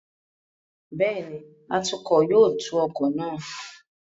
Bẹ́ẹ̀ni, atukọ̀ yóò tu ọkọ̀ náà.